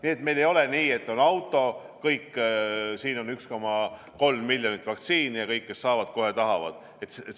Nii et meil ei ole nii, et on auto, siin on 1,3 miljonit vaktsiini ja kõik, kes tahavad, kohe saavad.